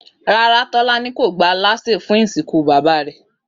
Rárá, Tó̩lání kò gba alásè fún ìsìnkú bàbá rè̩